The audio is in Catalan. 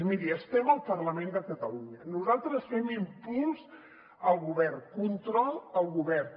mirin estem al parlament de catalunya nosaltres fem impuls al govern control al govern